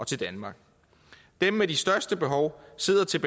til danmark og